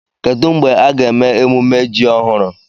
Kedu mgbe a ga-eme emume ji ọhụrụ?